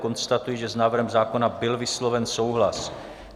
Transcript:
Konstatuji, že s návrhem zákona byl vysloven souhlas.